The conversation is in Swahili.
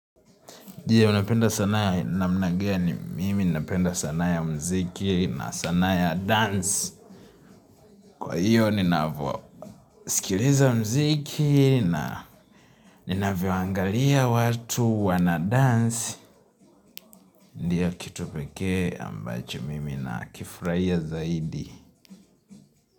Unapenda sanaa namna gani? Mimi napenda sanaa ya mziki na sanaa ya dance. Kwa hiyo ninavyo sikiliza mziki na ninavyoangalia watu wana dance. Ndiyo kitu pekee ambacho mimi nakifurahia zaidi.